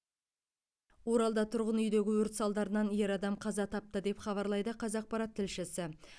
оралда тұрғын үйдегі өрт салдарынан ер адам қаза тапты деп хабарлайды қазақпарат тілшісі